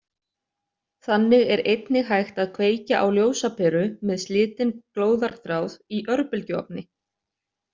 Þannig er einnig hægt að kveikja á ljósaperu með slitinn glóðarþráð í örbylgjuofni.